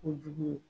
Kojugu ye